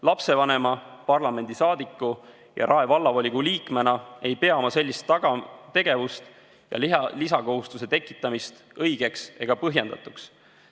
Lapsevanema, parlamendiliikme ja Rae Vallavolikogu liikmena ei pea ma sellist tegevust ja lisakohustuse tekitamist õigeks ega põhjendatuks.